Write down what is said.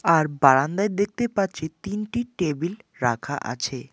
আর বারান্দায় দেখতে পাচ্ছি তিনটি টেবিল রাখা আছে।